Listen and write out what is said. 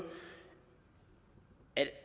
at